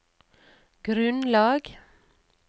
grunnlag